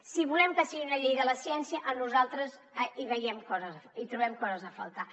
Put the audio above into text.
si volem que sigui una llei de la ciència nosaltres hi veiem coses hi trobem coses a faltar